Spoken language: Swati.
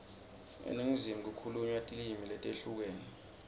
eningizimu kukhulunywa tilimi letehlukene